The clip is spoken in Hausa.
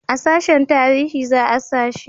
a sashen tarihi za a sa shi